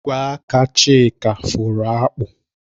Ogwe aka Chika fụrụ akpụ